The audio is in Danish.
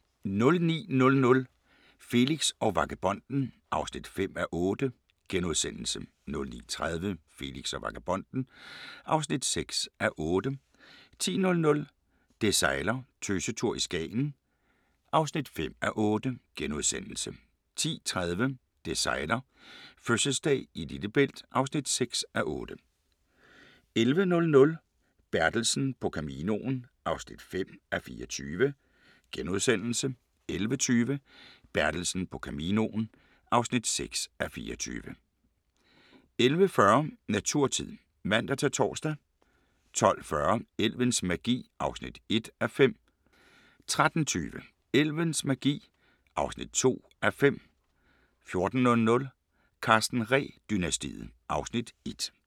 09:00: Felix og vagabonden (5:8)* 09:30: Felix og vagabonden (6:8) 10:00: Det sejler - Tøsetur i Skagen (5:8)* 10:30: Det sejler - fødselsdag i Lillebælt (6:8) 11:00: Bertelsen på Caminoen (5:24)* 11:20: Bertelsen på Caminoen (6:24) 11:40: Naturtid (man-tor) 12:40: Elvens magi (1:5) 13:20: Elvens magi (2:5) 14:00: Karsten Ree-dynastiet (Afs. 1)